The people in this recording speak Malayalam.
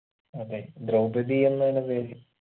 അതെ ദ്രൗപതി എന്നാണ് പേര്